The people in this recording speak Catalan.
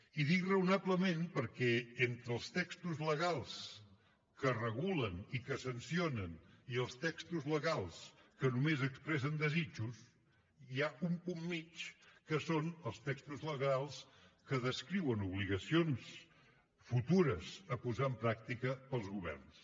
i dic raonablement perquè entre els textos legals que regulen i que sancionen i els textos legals que només expressen desitjos hi ha un punt mitjà que són els texos legals que descriuen obligacions futures a posar en pràctica pels governs